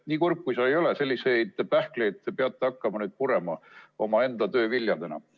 Nii kurb kui see ka ei ole, siis selliseid pähkleid peate te nüüd omaenda töö viljadena hakkama purema.